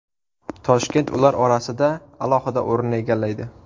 Toshkent ular orasida alohida o‘rinni egallaydi.